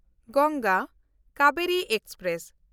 Ganga Kaveri express